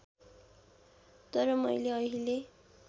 तर मैले अहिले